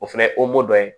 O fɛnɛ ye dɔ ye